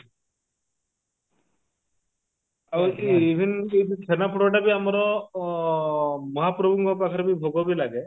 ଆଉ ଉଁ even ଯଉ ସେ ଛେନାପୋଡ ଟା ବି ଆମର ଅ ମହାପ୍ରଭୁଙ୍କ ପାଖରେ ଭୋଗ ବି ଲାଗେ